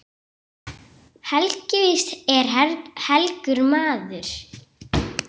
Helgi víst er helgur maður.